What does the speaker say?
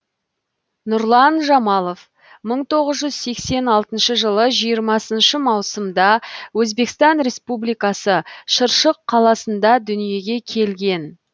нұрлан жамалов мың тоғыз жүз сексен алтыншы жылы жиырмасыншы маусымда өзбекстан республикасы шыршық қаласында дүниеге келген